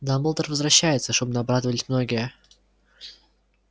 дамблдор возвращается шумно обрадовались многие